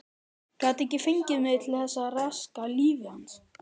Gat ekki fengið mig til þess að raska lífi hans.